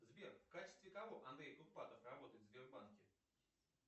сбер в качестве кого андрей курпатов работает в сбербанке